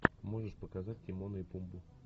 можешь показать тимона и пумбу